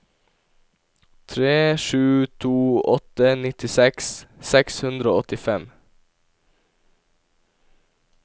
tre sju to åtte nittiseks seks hundre og åttifem